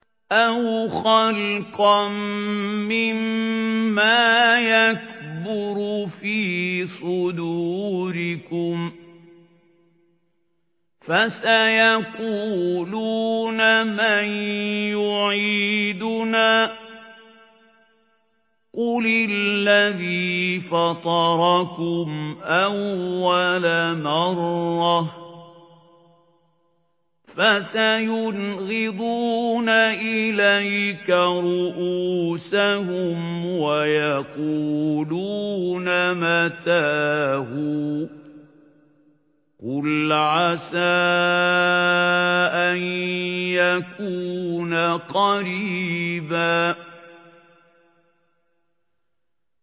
أَوْ خَلْقًا مِّمَّا يَكْبُرُ فِي صُدُورِكُمْ ۚ فَسَيَقُولُونَ مَن يُعِيدُنَا ۖ قُلِ الَّذِي فَطَرَكُمْ أَوَّلَ مَرَّةٍ ۚ فَسَيُنْغِضُونَ إِلَيْكَ رُءُوسَهُمْ وَيَقُولُونَ مَتَىٰ هُوَ ۖ قُلْ عَسَىٰ أَن يَكُونَ قَرِيبًا